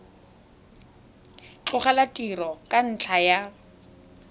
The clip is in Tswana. tlogela tiro ka ntlha ya